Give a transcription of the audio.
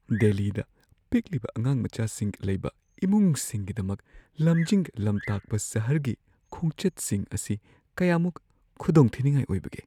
ꯗꯦꯜꯂꯤꯗ ꯄꯤꯛꯂꯤꯕ ꯑꯉꯥꯡꯃꯆꯥꯁꯤꯡ ꯂꯩꯕ ꯏꯃꯨꯡꯁꯤꯡꯒꯤꯗꯃꯛ ꯂꯝꯖꯤꯡ-ꯂꯝꯇꯥꯛꯄ ꯁꯍꯔꯒꯤ ꯈꯣꯡꯆꯠꯁꯤꯡ ꯑꯁꯤ ꯀꯌꯥꯃꯨꯛ ꯈꯨꯈꯨꯗꯣꯡꯊꯤꯅꯤꯡꯉꯥꯏ ꯑꯣꯏꯕꯒꯦ ?